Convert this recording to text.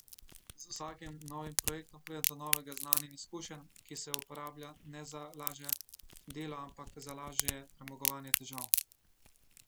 Z vsakim novim projektom pride do novega znanja in izkušenj, ki se uporablja ne za lažje delo, ampak za lažje premagovanje težav.